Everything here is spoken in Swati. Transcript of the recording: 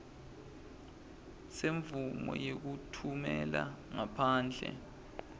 semvumo yekutfumela ngaphandle